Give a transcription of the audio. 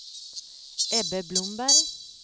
Ebbe Blomberg